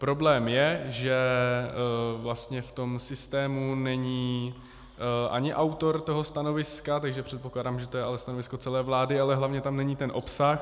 Problém je, že vlastně v tom systému není ani autor toho stanoviska, takže předpokládám, že to je ale stanovisko celé vlády, ale hlavně tam není ten obsah.